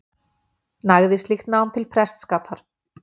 Nægði slíkt nám til prestsskapar.